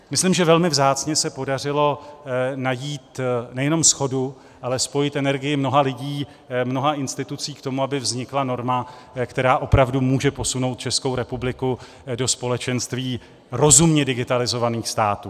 Myslím, že velmi vzácně se podařilo najít nejenom shodu, ale spojit energii mnoha lidí, mnoha institucí k tomu, aby vznikla norma, která opravdu může posunout Českou republiku do společenství rozumně digitalizovaných států.